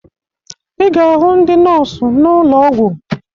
Ị ga-ahụ ndị nọọsụ n'ụlọ ọgwụ